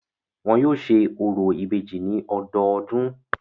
Wọn yóò ṣe orò ìbejì ní ọdọọdún.